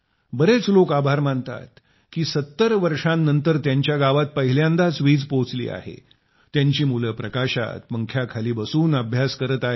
बरेच लोक देशाचे आभार मानतात की 70 वर्षांनंतर त्यांच्या गावात पहिल्यांदाच वीज पोहोचली आहे त्यांची मुले प्रकाशात पंख्याखाली बसून अभ्यास करत आहेत